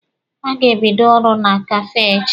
Ọ ga-ebido ọrụ na Kafee echi.